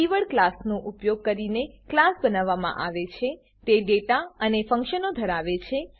keyword class નો ઉપયોગ કરીને ક્લાસ બનાવવામાં આવે છે તે ડેટા અને ફંક્શનો ધરાવે છે